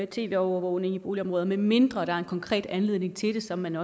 tv overvågning i boligområder medmindre der er en konkret anledning til det som man